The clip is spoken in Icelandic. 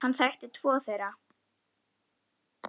Hann þekkti tvo þeirra.